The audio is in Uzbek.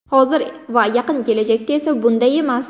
Hozir va yaqin kelajakda esa bunday emas.